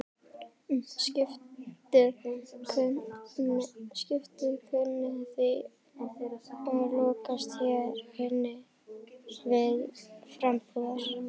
Skipið kunni því að lokast hér inni til frambúðar.